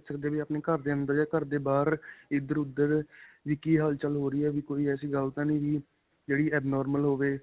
ਦੇਖ ਸਕਦੇ ਹਾਂ ਵੀ ਆਪਣੇ ਘਰ ਦੇ ਅੰਦਰ ਜਾਂ ਘਰ ਦੇ ਬਾਹਰ ਇੱਧਰ-ਉੱਧਰ ਵੀ ਕੀ ਹਲਚਲ ਹੋ ਰਹੀ ਹੈ ਵੀ ਕੋਈ ਐਸੀ ਗੱਲ ਤਾਂ ਨਹੀ ਵੀ ਜੇਹੜੀ abnormal ਹੋਵੇ